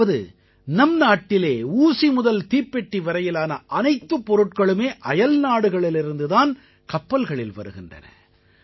அதாவது நம்நாட்டிலே ஊசி முதல் தீப்பெட்டி வரையிலான அனைத்துப் பொருள்களுமே அயல்நாடுகளிலிருந்து தான் கப்பல்களில் வருகின்றன